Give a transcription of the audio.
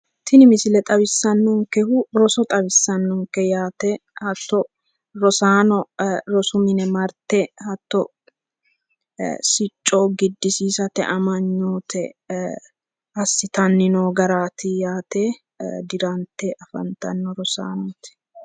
tini misile xawissannonkehu roso xawissannonke yaate hatto rosaano rosu mine marte hatto ee sicco giddisiisate amanyoote ee assitanni noo garaati yaate diranta afantanno rosaanooti.